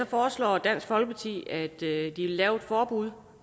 foreslår dansk folkeparti at lave et forbud